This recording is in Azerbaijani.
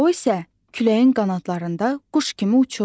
O isə küləyin qanadlarında quş kimi uçurdu.